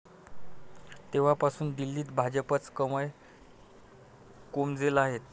तेव्हापासून दिल्लीत भाजपचं कमळ कोमेजलं आहे.